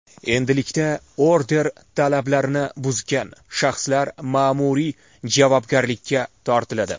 Endilikda order talablarini buzgan shaxslar ma’muriy javobgarlikka tortiladi.